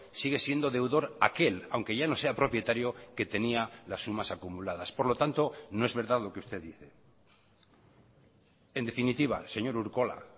sigue siendo deudor aquel aunque ya no sea propietario que tenía las sumas acumuladas por lo tanto no es verdad lo que usted dice en definitiva señor urkola